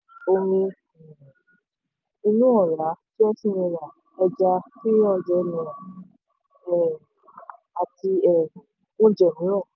inú ọ̀rá twenty naira ẹja three hundred naira um àti um oúnjẹ mìíràn.